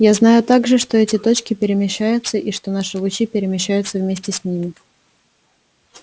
я знаю также что эти точки перемещаются и что наши лучи перемещаются вместе с ними